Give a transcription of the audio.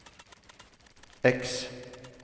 X